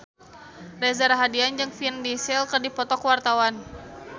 Reza Rahardian jeung Vin Diesel keur dipoto ku wartawan